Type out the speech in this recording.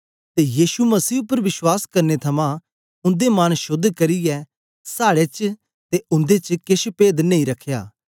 ते यीशु मसीह उपर विश्वास करने थमां उन्दे मन शोद्ध करियै साड़े च ते उन्दे च केछ पेद नेई रखया